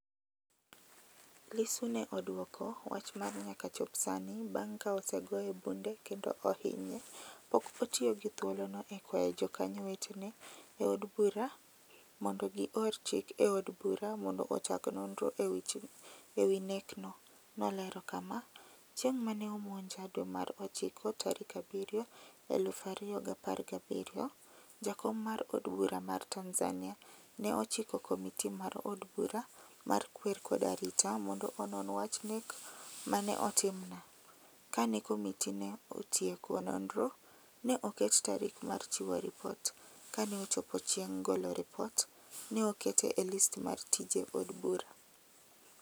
Lissu ne odwoko wach mar nyaka chop sani bang' ka osegoye bunde kendo ohinye, pok otiyo gi thuolo no e kwayo jokanyo wetene e od bura mondo gi or chik e od bura mondo ochak nonro e wi nekno, nolero kam:"Chieng' ma ne omonja dwe mar achiko tarik abirio 2017, jakom mar od bura mar Tanzania ne ochiko komiti mar od bura mar kwer kod arita mondo onon wach nek ma ne otim na, ka ne komiti ne otieko nonro, ne oket tarik mar chiwo ripot, kane ochopo chieng' golo ripot ne okete e list mar tije od bura.